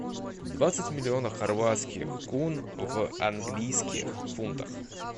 двадцать миллионов хорватских кун в английских фунтах